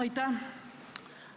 Aitäh!